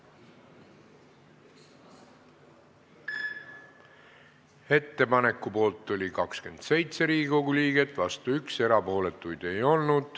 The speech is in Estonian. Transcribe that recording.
Hääletustulemused Ettepaneku poolt oli 27 Riigikogu liiget, vastu 1, erapooletuid ei olnud.